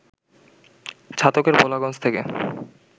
ছাতকের ভোলাগঞ্জ থেকে